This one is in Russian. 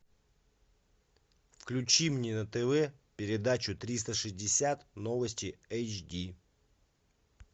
включи мне на тв передачу триста шестьдесят новости эйч ди